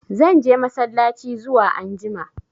Zan je massalaci zuwa anjima.